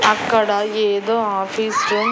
అక్కడ ఏదో ఆఫీసు --